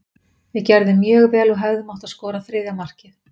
Við gerðum mjög vel og hefðum átt að skora þriðja markið.